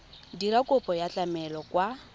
dira kopo ya tlamelo kwa